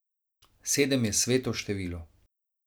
Sedem je sveto število.